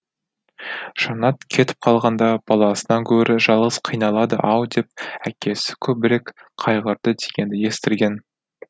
жаннат кетіп қалғанда баласынан гөрі жалғыз қиналады ау деп әкесі көбірек қайғырды дегенді естірген